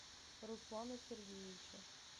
руслана сергеевича